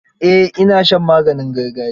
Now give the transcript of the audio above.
Eh ina shan maganin gargajiya.